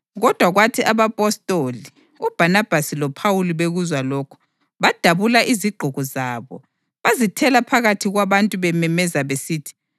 Kodwa kwathi abapostoli, uBhanabhasi loPhawuli bekuzwa lokhu, badabula izigqoko zabo bazithela phakathi kwabantu bememeza besithi: